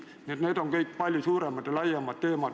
Nii et need on kõik palju suuremad ja laiemad teemad.